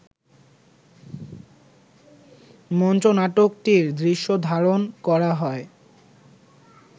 মঞ্চনাটকটির দৃশ্য ধারণ করা হয়